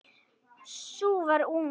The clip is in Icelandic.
Sú var ung!